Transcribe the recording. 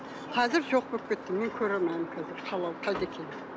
қазір жоқ болып кетті мен көре алмаймын қазір халал қайда екенін